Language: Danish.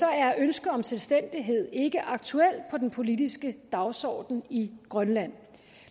er ønsket om selvstændighed ikke aktuel på den politiske dagsorden i grønland